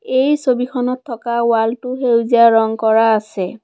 এই ছবিখনত থকা ৱালটো সেউজীয়া ৰং কৰা আছে।